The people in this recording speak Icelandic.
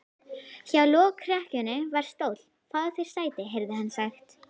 Hjá lokrekkjunni var stóll: Fáðu þér sæti, heyrði hann sagt.